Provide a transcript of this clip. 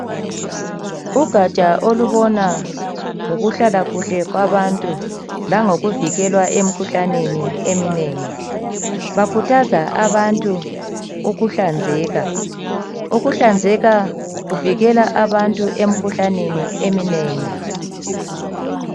Ugaja olubona ngokuhlala kuhle kwabantu langokuvikelwa emkhuhlaneni eminengi bakhuthaza abantu ukuhlanzeka ukuhlanzeka kuvikela abantu emikhuhlaneni eminengi